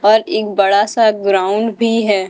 पर एक बड़ा सा ग्राउंड भी है।